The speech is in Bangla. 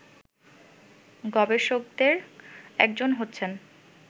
গবেষকদের একজন হচ্ছেন